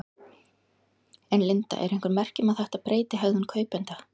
En Linda eru einhver merki um þetta breyti hegðun kaupenda?